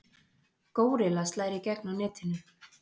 Górilla slær í gegn á netinu